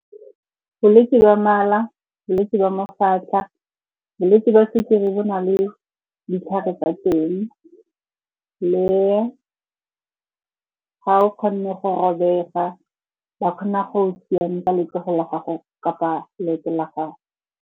Bolwetse ba mala, bolwetse jwa mafatlha, bolwetse jwa sukiri bo na le ditlhare tsa teng, le ga o kgonne go robega ba kgona go o siamisa letsogo la gago kapa leoto la gago.